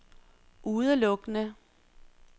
udelukkende